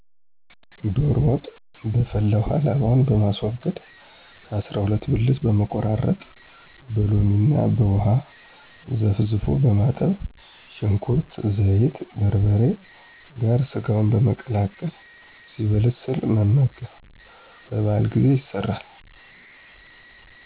ዶሮ ወጥ' በፈላ ውሃ ላባውን በማስወገድ ከ. አሰራ ሁለት ብልት በመቆራረጥ በሎሚ እና ውሃ ዘፍዝፎ በማጠብ ሽንኩርት፣ ዘይት፣ በርበሬ ጋር ሰጋውን በመቀላቀል ሲበስል መመገብ። በ. በዓላት ጊዜ ይሰራል።